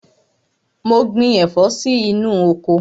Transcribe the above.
Mo gbin ẹ̀fọ́ sí inú oko.